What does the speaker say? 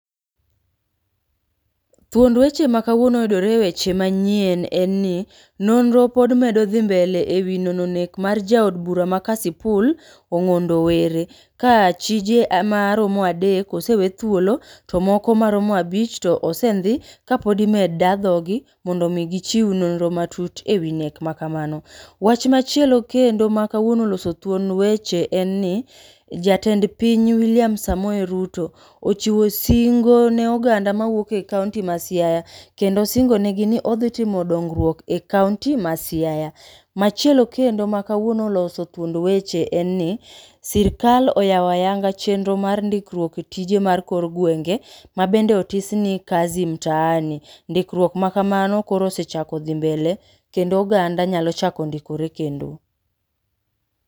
Thuond weche makawuono yudore e weche manyien en ni, nonro pod medo dhi mbele e wi nono nek mar jaod bura ma Kasipul Ong'ondo Were ka achije maromo adek osewe thuolo to moko maromo abich to osendhi kapod imed da dhoggi mondo omi gichiw nonro matut e wi nek makamano. Wach machielo kendo makawuono oloso thuond weche en ni jatend piny William Samoei Ruto ochiwo singo ne oganda mawuok e kaonti ma Siaya kendo osingonegi ni odhitimo dongruok e kaonti ma Siaya. Machielo kendo makawuono oloso thuond weche en ni sirikal oyawo ayanga chenro mar ndikruok e tije mar kor gwenge mabende otis ni kazi mtaani, ndikruok makamano koro osechako dhi mbele kendo oganda nyalo chako ndikore kendo.